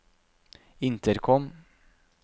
intercom